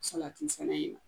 Salati fɛnɛ ye.